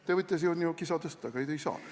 Te võite siin ju kisa tõsta, aga ei saa.